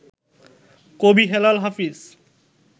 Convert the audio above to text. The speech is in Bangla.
কবি হেলাল হাফিজ